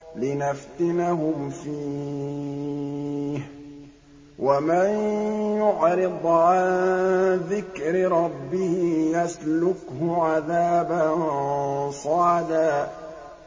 لِّنَفْتِنَهُمْ فِيهِ ۚ وَمَن يُعْرِضْ عَن ذِكْرِ رَبِّهِ يَسْلُكْهُ عَذَابًا صَعَدًا